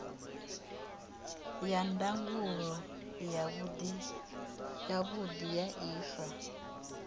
ya ndangulo yavhudi ya ifa